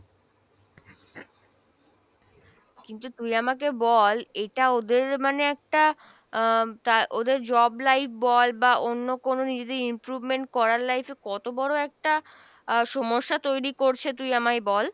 কিন্তু তুই আমাকে বল এটা ওদের মানে একটা আহ তা ওদের job life বল বা অন্য কোনো নিজেদের improvement করার life এ কত বড়ো একটা আহ সমস্যা তৈরি করছে তুই আমায় বল?